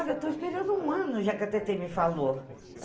Olha, eu estou esperando um ano, já que a Tetê me falou.